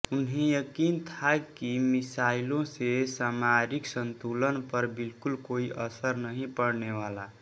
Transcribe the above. उन्हें यकीन था कि मिसाइलों से सामरिक संतुलन पर बिल्कुल कोई असर नहीं पड़नेवाला